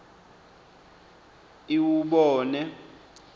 iwubone